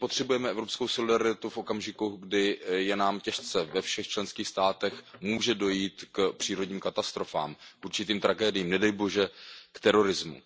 My potřebujeme evropskou solidaritu v okamžiku, kdy je nám těžce, ve všech členských státech, může dojít k přírodním katastrofám, určitým tragédiím, nedej bože k terorismu.